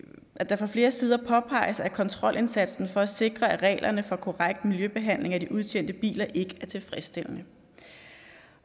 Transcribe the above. at det fra flere sider påpeges at kontrolindsatsen for at sikre at reglerne for korrekt miljøbehandling af de udtjente biler overholdes ikke er tilfredsstillende